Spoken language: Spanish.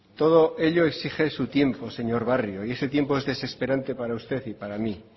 todo ello exige su tiempo señor barrio y ese tiempo es desesperante para usted y para mi